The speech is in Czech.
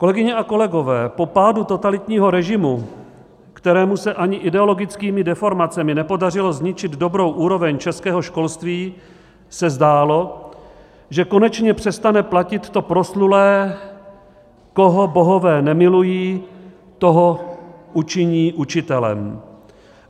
Kolegyně a kolegové, po pádu totalitního režimu, kterému se ani ideologickými deformacemi nepodařilo zničit dobrou úroveň českého školství, se zdálo, že konečně přestane platit to proslulé "koho bohové nemilují, toho učiní učitelem".